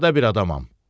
Sadə bir adamam.